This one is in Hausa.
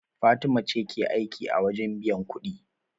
Fatima ce ke aiki a wajen biyan kuɗin.